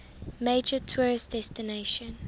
major tourist destination